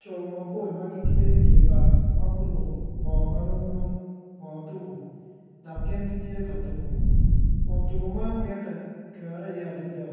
Co mapol ma gitye i dye bar ma guruko bongo ma romrom bongo tuku dok gin gitye ka tuko kun tuko man mitte kero iye adada